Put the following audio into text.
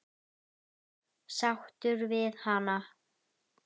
Sáttur við hana?